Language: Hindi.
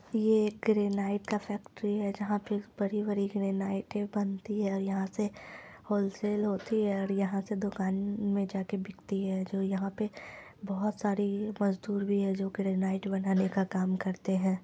ये एक ग्रेनाइड का फैक्ट्री है जहां पे बड़ी बड़ी- बड़ी ग्रेनाइडे बनती हैं और यहाँ से होलसेल होती है और यहाँ से दुकान मे जाके बिकती है जो यहाँ पे बहुत सारी मजदूर भी हैं जो ग्रेनाइड बनाने का काम करते है।